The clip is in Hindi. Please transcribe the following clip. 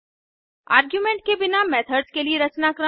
आर्गुमेंट के बिना मेथड्स के लिए रचनाक्रम